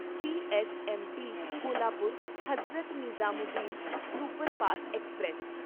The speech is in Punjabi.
CSMT Kolhapur Hazrat Nizamuddin superfast express